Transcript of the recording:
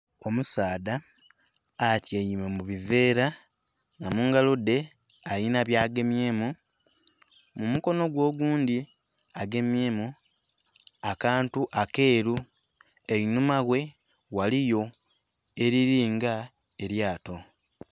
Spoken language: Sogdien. Omusaadha atyaime mu biveera nga mungalo dhe alinha bya gemyemu, mumukono gwe oghundhi agemyemu akantu akeru einhuma ghe ghaligho elilii nga elyato.